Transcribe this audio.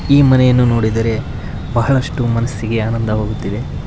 ಇಲ್ಲಿ ಮನೆಯನ್ನು ನೋಡಿದರೆ ಬಹಳಷ್ಟು ಮನಸ್ಸಿಗೆ ಆನಂದವಾಗುತ್ತಿದೆ.